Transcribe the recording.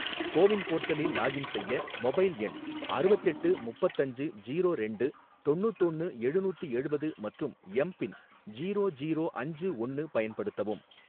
CoWIN போர்ட்டலில் login செய்ய, mobile எண் அறுவத்தெட்டு முப்பத்தஞ்சு ஜீரோ ரெண்டு தொண்ணூத்தொன்னு எழுநூத்தி எழுவது மற்றும் எம் பின் ஜீரோ ஜீரோ அஞ்சு ஒன்னு பயன்படுத்தவும்.